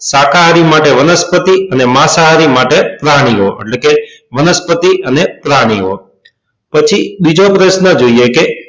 શાકાહારી માટે વનસ્પતિ અને માંસાહારી માટે પ્રાણીઓ એટલે કે વનસ્પતિ અને પ્રાણીઓ પછી બીજો પ્રશ્ન જોઈએ કે